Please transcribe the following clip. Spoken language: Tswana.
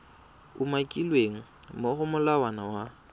umakilweng mo go molawana wa